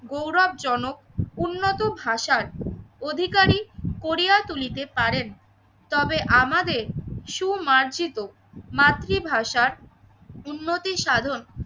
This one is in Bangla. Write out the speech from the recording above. গৌরব জনক উন্নত ভাষার অধিকারী করিয়া তুলিতে পারেন তবে আমাদের সু মার্জিত মাতৃভাষার উন্নতি সাধন